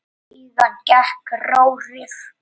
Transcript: Síðan gekk Þórir út.